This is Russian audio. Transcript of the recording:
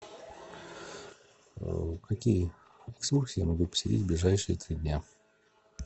какие экскурсии я могу посетить в ближайшие три дня